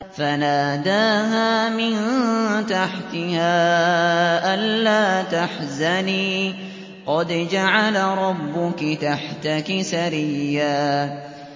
فَنَادَاهَا مِن تَحْتِهَا أَلَّا تَحْزَنِي قَدْ جَعَلَ رَبُّكِ تَحْتَكِ سَرِيًّا